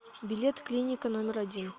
билет клиника номер один